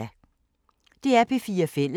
DR P4 Fælles